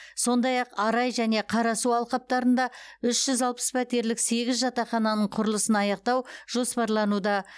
сондай ақ арай және қарасу алқаптарында үш жүз алпыс пәтерлік сегіз жатақхананың құрылысын аяқтау жоспарлануда